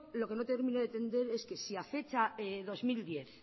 lo que no termino de entender es que si a fecha dos mil diez